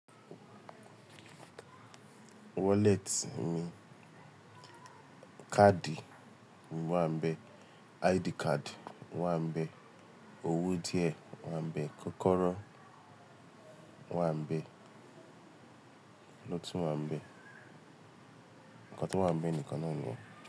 Woleti mi káàdì o wá ń bẹ, ID kadi wá ń bẹ, owó díẹ̀ wá ń bẹ, kọ́kọ́rọ́ wá ń bẹ, ki lo tun wa nbe. Nǹkan tó wá ń bẹ nìkan naa ni yen.